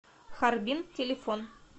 харбин телефон